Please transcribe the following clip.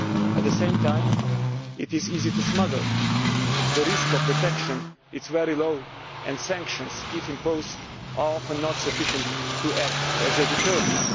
at the same time, it is easy to smuggle, the risk of detection is very low, and sanctions, if imposed, are often not sufficient to act as a deterrent.